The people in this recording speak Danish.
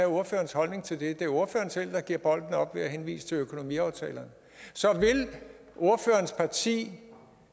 ordførerens holdning til det det er ordføreren selv der giver bolden op ved at henvise til økonomiaftalen så vil ordførerens parti